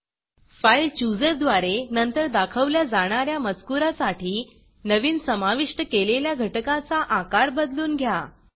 file Chooserफाइल chooser द्वारे नंतर दाखवल्या जाणा या मजकूरासाठी नवीन समाविष्ट केलेल्या घटकाचा आकार बदलून घ्या